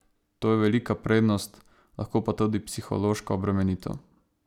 To je velika prednost, lahko pa tudi psihološka obremenitev.